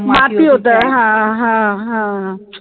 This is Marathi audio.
माती होतं हा हा हा